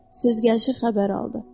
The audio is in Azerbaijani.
Söz gəlişi xəbər aldı.